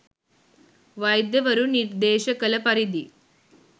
වෛද්‍යවරුන් නිර්දේශ කළ පරිදි